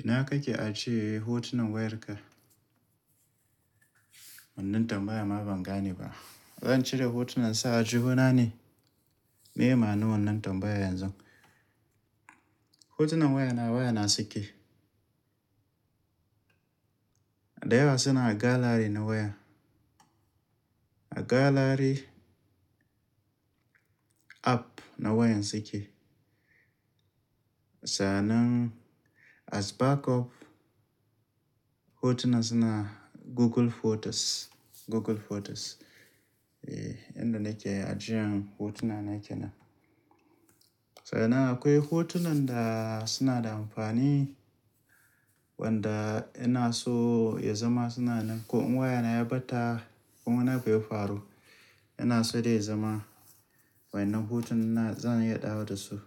Ina kake ajiya hotunan wayarka? Wannan tambaya ma ban gane ba. Zan cire hotunan sa a juna ne? Me amaman wannan tambaya yanzu. Hotunan wayana, wayana sike. Da yawa suna a gallery na waya. A gallery app na wayan sike. Sa'nan as backup, hotuna suna Google Photos, Google Photos. Eh, inda nake ajiyan hotuna nake nan. Sa'nan akwai hotunan da suna da amfani wanda ina so ya zama suna nan. Ko in wayana ya ɓata ko mun haka ya faru, ina so dai zama wannan hotuna zan iya dawo da su.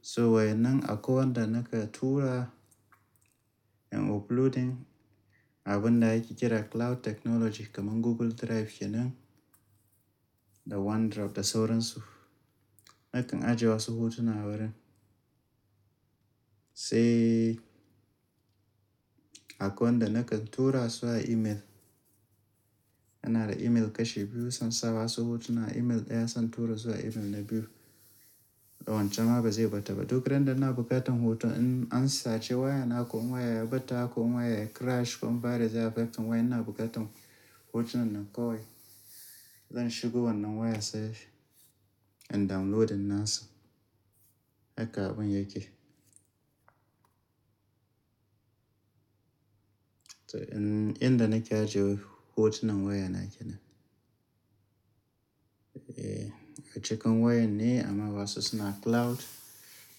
So wannan akawai wanda naka tura in uploading, abin da ake kira cloud technology kaman Google Drive kenan, da OneDrive da sauransu. Na kan ajiye wasu hotuna wurin. Sai akwai wanda nakan tura zuwa email. Ana da email kashe biyu, sannan saba su hotuna email ɗaya zan tura zuwa email na biyu. Da wancan ma ba zai ɓata ba. Duk randa ina buƙatan hoto in an sace wayana ko waya ya ɓata ko waya ya crash ko an bari zai affecting waya ina buƙatan hotunan nan kawai, zan shigo wannan waya safe in downloading nasa. Haka abin yake. To, in inda nake ajiye hotunan wayana yake nan. Eh, acikin wayan ne amma wasu suna cloud,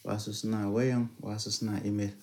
wasu suna wayan, wasu suna email.